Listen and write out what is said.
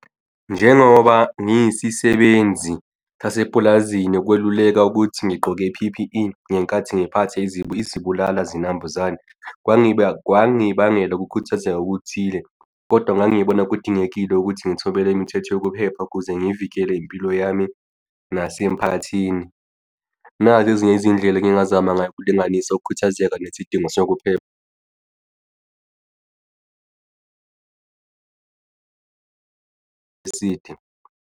Njengoba ngiyisisebenzi sase pulazini ukweluleka ukuthi ngigqoke i-P_P_E ngenkathi ngiphathe izibulala zinambuzane, kwangibangela ukukhuthazeka okuthile, kodwa ngangibona kudingekile ukuthi ngithole imithetho yokuphepha ukuze ngivikele impilo yami nasemphakathini. Nazi ezinye izindlela engingazama ngazo ukulinganisa ukukhathazeka nesidingo sokuphepha eside.